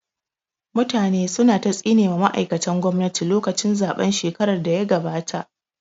Mutane su na ta tsine ma ma'aikatan gwamnati lokacin zaɓen shekarar da ya gabata